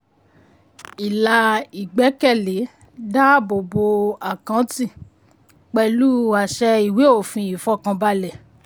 ilà ìgbékèlé dáàbò bo àkáǹtì pẹ̀lú àṣẹ ìwé òfin ìfọkànbalẹ̀.